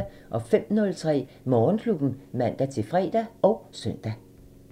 05:03: Morgenklubben (man-fre og søn)